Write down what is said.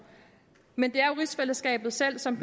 men det er jo rigsfællesskabet selv som